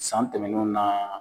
San tɛmɛnenw naa